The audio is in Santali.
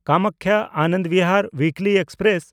ᱠᱟᱢᱟᱠᱠᱷᱟ–ᱟᱱᱚᱱᱫ ᱵᱤᱦᱟᱨ ᱩᱭᱤᱠᱞᱤ ᱮᱠᱥᱯᱨᱮᱥ